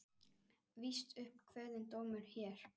Víst upp kveðinn dómur hér.